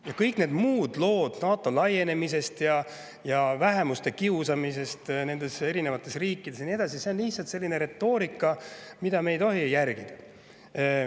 Ja kõik need muud lood NATO laienemisest ja vähemuste kiusamisest nendes riikides ja nii edasi – see on lihtsalt selline retoorika, mida me ei tohi järgida.